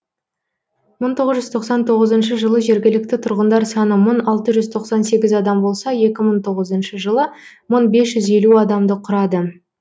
мың тоғыз жүз тоқсан тоғызыншы жылы жергілікті тұрғындар саны мың алты жүз тоқсан сегіз адам болса екі мың тоғызыншы жылы мың бес жүз елу адамды құрады